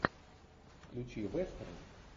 включи вестерн